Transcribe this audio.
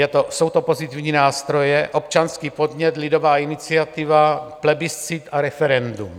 Jsou to pozitivní nástroje: občanský podnět, lidová iniciativa, plebiscit a referendum.